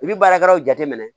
I bi baarakɛlaw jateminɛ